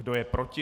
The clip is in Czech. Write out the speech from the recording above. Kdo je proti?